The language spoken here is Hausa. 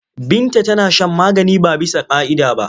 Binta tana shan magani ba bisa ƙa'ida ba.